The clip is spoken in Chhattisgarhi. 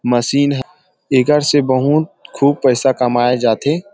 मशीन ह एकर से बहुत खूब पैसा कमाए जाथे।